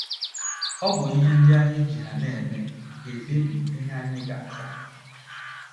Ọ bụ ihe ndị anyị ji ha na - eme ga - ekpebi ihe anyị ga - aza.